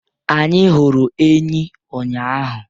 Anyị hụrụ enyí ụnyahụ.